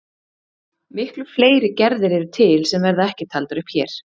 Miklu fleiri gerðir eru til sem verða ekki taldar upp hér.